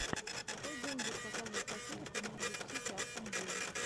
в какой день будут показывать по телеку норвич сити астон вилла